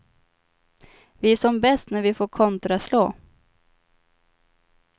Vi är som bäst när vi får kontraslå.